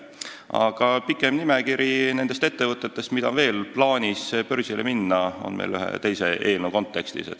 Aga pikem nimekiri nendest ettevõtetest, mida on veel plaanis börsile viia, on tulemas ühe teise eelnõu kontekstis.